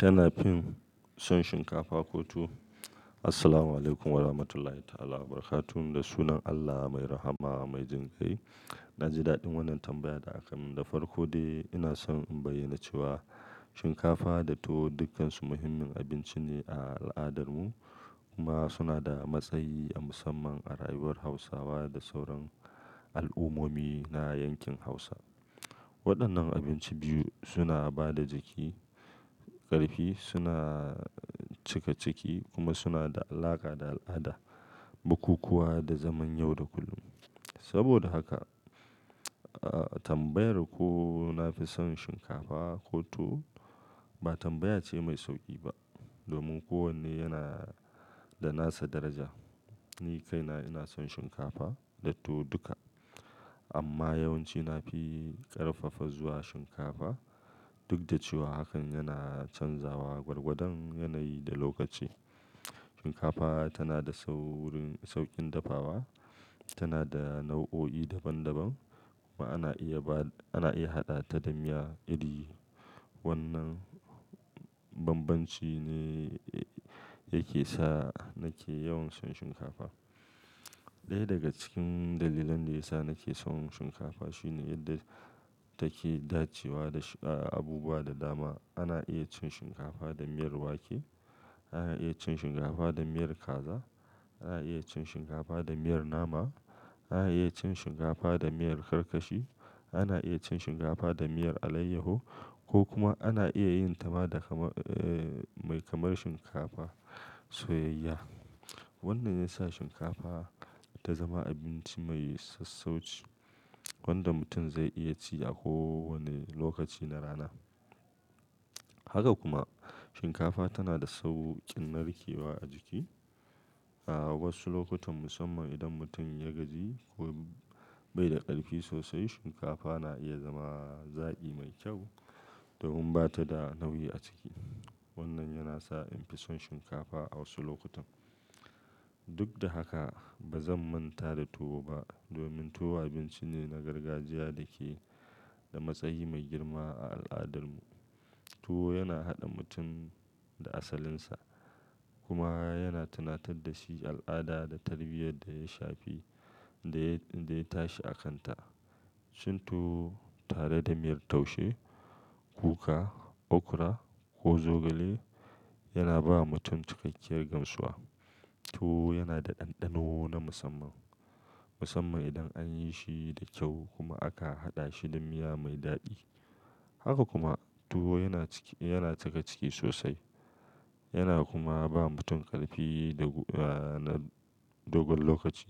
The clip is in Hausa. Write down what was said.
Tana fin, son shinkafa ko tuwo? Assalamualaikum warahmatullahi ta'ala wabarakatuh. Da sunan Allah mai rahama mai jan kai, na ji daɗin wannan tambayar da aka min da farko. Dai ina son in bayyana cewa shinkafa da tuwo dukkansu muhimmin abinci ne a al'adarmu kuma suna da matsayi na musamman a rayuwar Hausawa da sauran al'ummomi na yankin Hausa. Waɗannan abinci biyu suna ba da jiki ƙarfi, suna cika ciki kuma suna da alaƙa da al'ada, bukukuwa da zaman yau da kullum. Saboda haka, tambayar ko na fi son shinkafa ko tuwo ba tambaya ce mai sauƙi ba domin kowanne yana da nasa daraja. Ni kaina ina son shinkafa da tuwo duka amma yawanci na fi ƙarfafa zuwa shinkafa duk da cewa hakan yana canzawa gwargwadon yanayi da lokaci. Shinkafa tana da sauƙin dafawa, tana da nau'o'i daban daban kuma ana iya haɗa ta da miya iri. Wannan bambanci ne yake sa nake yawan son shinkafa. Ɗaya daga cikin dalilan da ya sa nake son shinkafa shine yadda take dacewa da abubuwa da dama. Ana iya cin shinkafa da miyar wake, ana iya cin shinkafa da miyar kaza, ana iya cin shinkafa da miyar nama, ana iya cin shinkafa da miyar karkashi, ana iya cin shinkafa da miyar alayyaho ko kuma ana iya yin ta mai kamar shinkafa soyayyiya. Wannan ya sa shinkafa ta zama abinci mai sassauci wanda mutum zai iya ci a kowane lokaci na rana. Haka kuma shinkafa tana da sauƙin narkewa a jiki. A wasu lokutan musamman idan mutum ya gaji ko bai da ƙarfi sosai shinkafa na iya zama zaƙi mai kyau domin bata da nauyi a ciki. Wannan yana sa in fi son shinkafa a wasu lokutan. Duk da haka bazan manta da tuwo ba domin tuwo abinci ne na gargajiya da ke da matsayi mai girma a al'adarmu. Tuwo yana haɗa mutum da asalinsa kuma yana tunatar da shi al'ada da tarbiyyar da ya shafi da ya tashi a kanta. Cin tuwo tare da miyar taushe, kuka, okra ko zogale yana ba mutum cikakkiyar gamsuwa. Tuwo yana da ɗanɗano na musamman idan an yi shi da kyau kuma aka haɗa shi da miya mai daɗi. Haka kuma tuwo yana cika ciki sosai yana kuma bawa mutum ƙarfi da gudanar dogon lokaci.